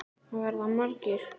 Verða margir?